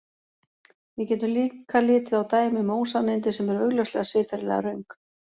Við getum líka litið á dæmi um ósannindi sem eru augljóslega siðferðilega röng.